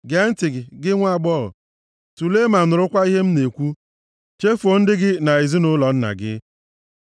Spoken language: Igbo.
Gee ntị, gị nwaagbọghọ, tulee ma nụrụkwa ihe m na-ekwu: “Chefuo ndị gị na ezinaụlọ nna gị.